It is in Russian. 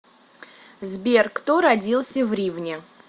сбер кто родился в ривне